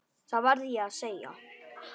Það verð ég að segja.